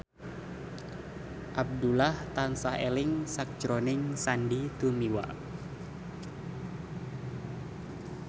Abdullah tansah eling sakjroning Sandy Tumiwa